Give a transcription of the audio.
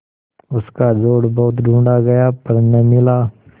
उसका जोड़ बहुत ढूँढ़ा गया पर न मिला